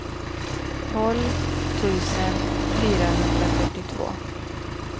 tolv tusen fyrahundrafyrtiotvå